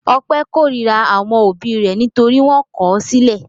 Ọpẹ́ korira àwọn òbí rẹ̀ nítorí wọ́n kọ̀ ọ́ sílẹ̀.